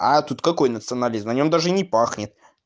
а тут какой националист на нём даже не пахнет